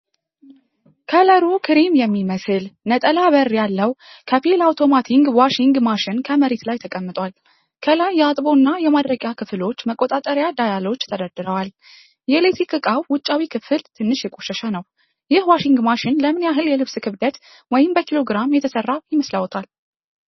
ከለሩ ክሬም የሚመስል፣ ነጠላ በር ያለው፣ ከፊል አውቶማቲክ ዋሺንግ መሺን ከመሬት ላይ ተቀምጧል። ከላይ የአጥቦ እና የማድረቂያ ክፍሎች መቆጣጠሪያ ዳያሎች ተደርድረዋል። የኤሌክትሪክ ዕቃው ውጫዊ ክፍል ትንሽ የቆሸሸ ነው። ይህ ዋሺንግ መሺን ለምን ያህል የልብስ ክብደት (በኪሎ ግራም) የተሰራ ይመስልዎታል?